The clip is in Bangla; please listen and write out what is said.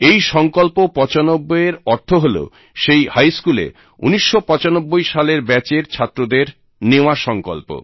এই সঙ্কল্প ৯৫ এর অর্থ হল সেই হাই স্কুলে ১৯৯৫ সালের ব্যাচের ছাত্রদের নেওয়া সঙ্কল্প